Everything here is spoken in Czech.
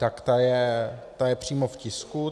Tak ta je přímo v tisku.